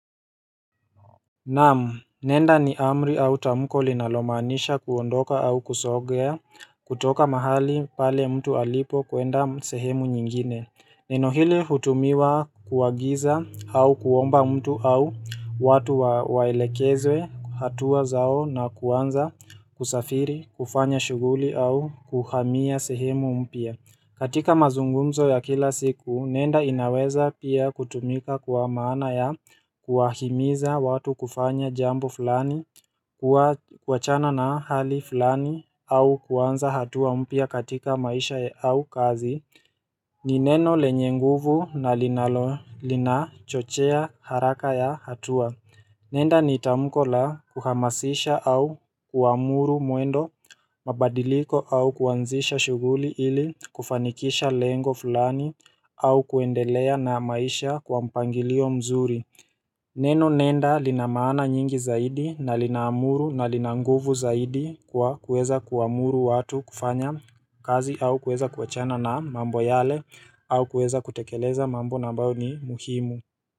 Naam nenda ni amri au tamko linalomaanisha kuondoka au kusogea kutoka mahali pale mtu alipo kuenda sehemu nyingine Nenohili hutumiwa kuagiza au kuomba mtu au watu waelekezwe hatua zao na kuanza kusafiri kufanya shughuli au kuhamia sehemu mpya katika mazungumzo ya kila siku, nenda inaweza pia kutumika kuwa maana ya kuwa himiza watu kufanya jambo fulani, kuachana na hali fulani au kuanza hatua mpya katika maisha au kazi ni neno lenye nguvu na linalo lina chochea haraka ya hatua Nenda ni tamko la kuhamasisha au kuamuru mwendo mabadiliko au kuanzisha shughuli ili kufanikisha lengo fulani au kuendelea na maisha kwa mpangilio mzuri. Neno nenda linamaana nyingi zaidi na linaamuru na linanguvu zaidi kwa kuweza kuamuru watu kufanya kazi au kuweza kuachana na mambo yale au kuweza kutekeleza mambo na ambayo ni muhimu.